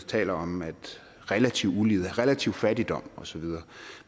taler om relativ ulighed relativ fattigdom og så videre